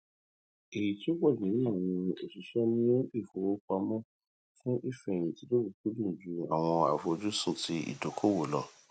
èyí tí ó pọjù nínú àwọn òṣìṣẹ mú ìfowópamọ fún ìfẹhìntì lọkùúkúdùn ju àwọn àfojúsùn ti ìdókòwò lọ